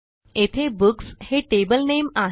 येथे बुक्स हे टेबल नामे आहे